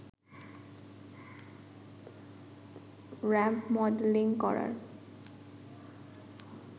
ramp modelling করার